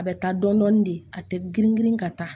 A bɛ taa dɔɔnin dɔɔnin de a tɛ girin girin ka taa